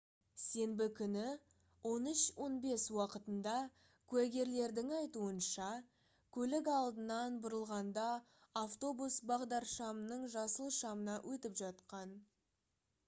сенбі күні 13:15 уақытында куәгерлердің айтуынша көлік алдынан бұрылғанда автобус бағдаршамның жасыл шамына өтіп жатқан